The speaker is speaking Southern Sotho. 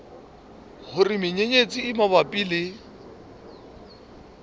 hore menyenyetsi e mabapi le